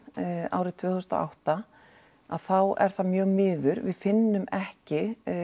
árið tvö þúsund og átta að þá er það mjög miður við finnum ekki